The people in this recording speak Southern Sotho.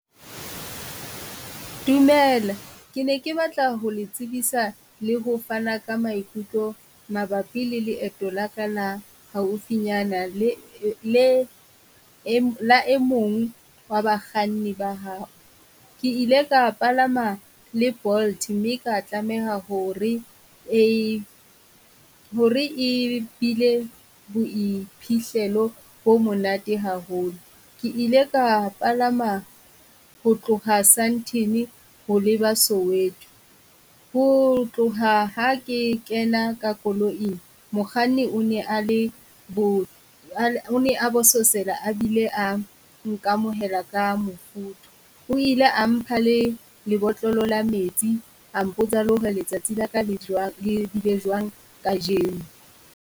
Dumela ke ne ke batla ho le tsebisa le ho fana ka maikutlo mabapi le leeto la ka la haufinyana le le la emong wa bakganni ba hao. Ke ile ka palama le Bolt mme ka tlameha ho re e ho re e bile boiphihlelo bo monate haholo. Ke ile ka palama ho tloha Sandton ho leba Soweto, ho tloha ha ke kena ka koloing mokganni o ne a le bo, o ne a bososela a bile a nkamohela ka mofuthu. O ile a mpa le lebotlolo la metsi, a mpotsa le ho re letsatsi la ka jwang, le bile jwang kajeno.